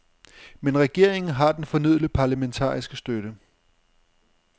Men regeringen har den fornødne parlamentariske støtte.